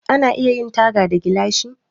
Ana iya yin taga da gilashi.